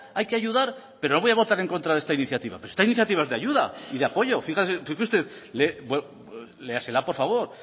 hay que ayudar pero voy a votar en contra de esta iniciativa pero esta iniciativa es de ayuda y de apoyo fíjese usted léasela por favor